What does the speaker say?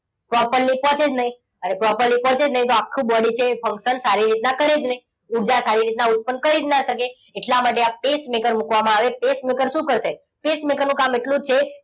properly પહોંચે જ નહીં ને properly પહોંચે જ નહીં તો આખું body છે એ function સારી રીતના કરી જ નહીં. ઉર્જા સારી રીતના ઉત્પન્ન કરી જ ન શકે. એટલા માટે આ pacemaker મૂકવામાં આવે છે. pacemaker શું કરશે? pacemaker નું કામ એટલું જ છે.